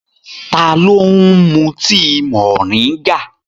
Ta ló ń mu tíi moringa?